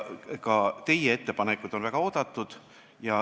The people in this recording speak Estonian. Ka teie ettepanekud on väga oodatud.